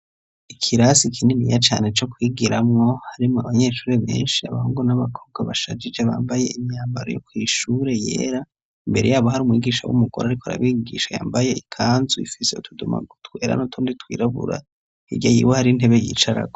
Ikirasi kininiya cane co kwigiramwo harimwo abanyeshure benshi abahungu n'abakobwa bashajije bambaye imyambaro yo kw'ishure yera, imbere yabo hari umwigisha w'umugore ariko arabigisha yambaye ikanzu ifise utudoma twera n'utundi twirabura, hirya yiwe hariyo intebe yicarako.